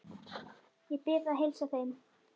Ég bið að heilsa þeim.